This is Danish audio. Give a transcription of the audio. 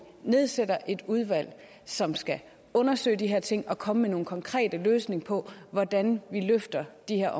nedsætter et udvalg som skal undersøge de her ting og komme med nogle konkrete løsninger på hvordan vi løfter de her